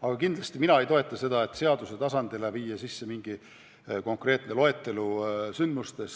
Mina kindlasti ei toeta seda, et seaduse tasandil fikseerida mingi konkreetne sündmuste,